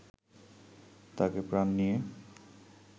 তাকে প্রাণ নিয়ে